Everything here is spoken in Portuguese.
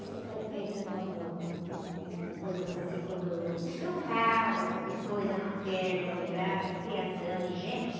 Esse foi feito do, no, com, com, com coisas assim, quando destroncava qualquer coisa, numa perna, no braço, em criação, em gente.